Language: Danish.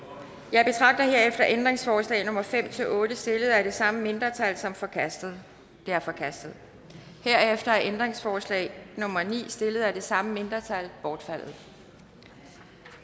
jeg betragter herefter ændringsforslag nummer fem otte stillet af det samme mindretal som forkastet de er forkastet herefter er ændringsforslag nummer ni stillet af det samme mindretal bortfaldet